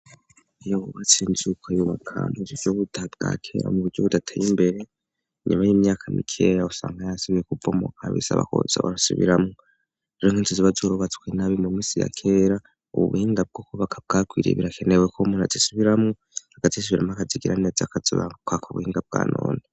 Iyo bubatsinsuka ibumakantu zibyo buda bwakera mu buryo budateye imbere nyuma y'imyaka mikeya usanga yasibiye kupvomo kabisaba koza urasubiramu rere nko inzuziba zurubatswe nabi mu minsi ya kera ubuhinga bwo ko baka bwakwiriye birakenewe ko muntu azisubiramu agazisubiramo akazigiranez akazuba kaka buhinga bwa none.